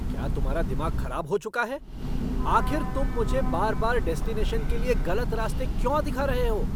क्या तुम्हारा दिमाग खराब हो चुका है? आखिर तुम मुझे बार बार डेस्टिनेशन के लिए गलत रास्ते क्यों दिखा रहे हो?